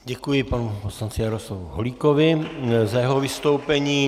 Děkuji panu poslanci Jaroslavu Holíkovi za jeho vystoupení.